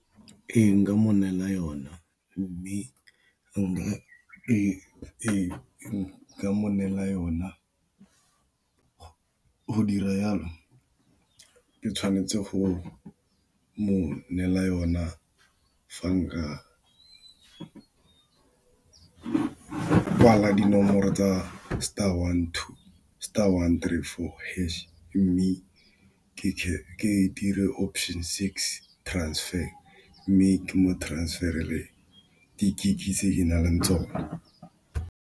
Ee, nka mo neela yona mme nka mo neela yona go dira jalo ke tshwanetse go mo neela yona fa nka kwala dinomoro tsa star one two star one three four hash, mme ke dire option six transfer mme ke mo transfer-ele di-gig tse ke na leng tsona.